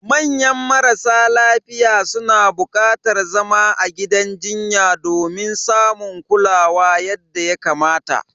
Manya marasa lafiya suna bukatar zama a gidan jinya domin samun kulawa yadda ya kamata.